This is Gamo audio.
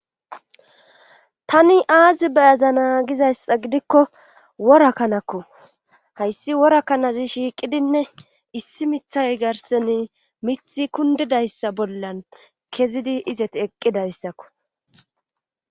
tani aazi beyaza naa gizayssa gidikko worakkanakku hayssi worakanazi shiiqidinne issi mithay garseni mithi kundidayssa bollan kezidi izet eqqidayssakku